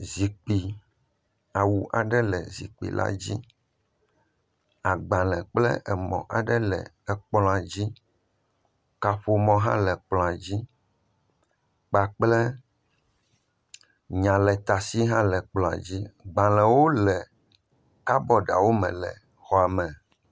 Enusrɔ̃ƒe aɖe. Teƒea le ʋie. Ekplɔ le ga mea, zikpui le ga ma. Le zikpuia dzia awu le zikpui dzi. Ekplɔ dzi laptop le ga ma. Fotoɖenu hã le ga ma. Agbale hã le ga ma. Ele drɔwɔwo ea agbalewo le drɔwawo me fũu vovovo.